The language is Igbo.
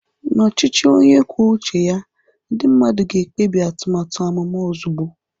Na ọchịchị onye kwuo uche ya, ndị mmadụ ga-ekpebi atụmatụ amụma ozugbo.